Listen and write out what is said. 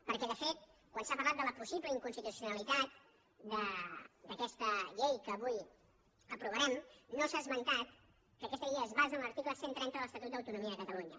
perquè de fet quan s’ha parlat de la possible inconstitucionalitat d’aquesta llei que avui aprovarem no s’ha esmentat que aquesta llei es basa en l’article cent i trenta de l’estatut d’autonomia de catalunya